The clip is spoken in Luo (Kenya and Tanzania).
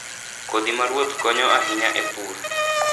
Kodhi ma ruoth konyo ahinya e pur.